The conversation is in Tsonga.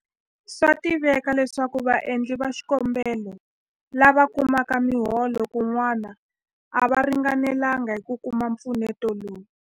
Swa tiveka leswaku vaendli va xikombelo lava kumaka miholo kun'wana a va ringanelanga hi ku kuma mpfuneto lowu.